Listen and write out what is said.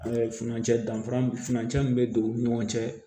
Ɛɛ furancɛ danfara furancɛ min be don u ni ɲɔgɔn cɛ